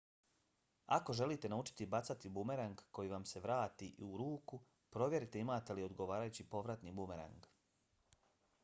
ako želite naučiti bacati bumerang koji vam se vrati u ruku provjerite imate li odgovarajući povratni bumerang